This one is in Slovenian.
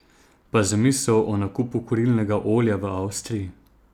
Pa zamisel o nakupu kurilnega olja v Avstriji?